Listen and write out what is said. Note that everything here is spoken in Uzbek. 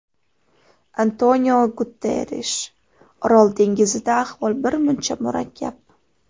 Antoniu Guterrish: Orol dengizida ahvol birmuncha murakkab.